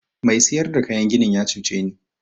Mai siyar da kayan ginin ya cuce ni.